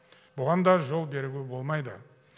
бұған да жол беруге болмайды